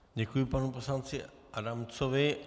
Děkuji panu poslanci Adamcovi.